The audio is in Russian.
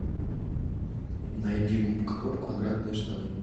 найди губка боб квадратные штаны